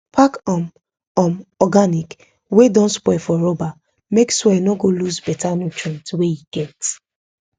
pack um um organic wey don spoil for rubber make soil no go lose beta nutrient wey e get